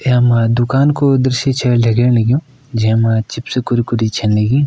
यामा दुकान को दृश्य छ लगण लग्युं जै मा चिप्स -कुरकुरी छ लगीं।